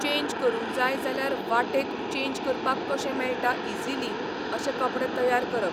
Change करूंक जाय जाल्यार वाटेक चेन्ज करपाक कशें मेळटा इजिली अशे कपडे तयार करप.